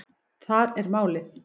Þar er málið.